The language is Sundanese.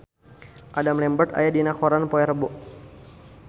Adam Lambert aya dina koran poe Rebo